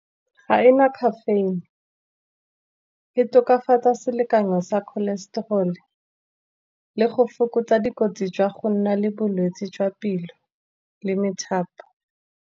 Ga ena caffeine, e tokafatsa selekanyo sa cholesterol, le go fokotsa dikotsi jwa go nna le bolwetsi jwa pelo le methapo.